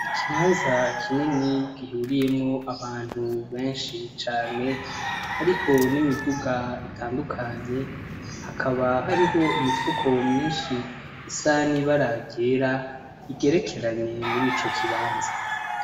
Ikibanza kinini gihuriyemwo abantu benshi cane, hariho n'imiduga itandukanye, hakaba hariho imifuko myinshi isa n'ibara ryera igerekeranye muri ico kibanza.